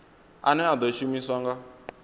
ane a ḓo shumiswa nga